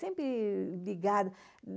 Sempre ligada.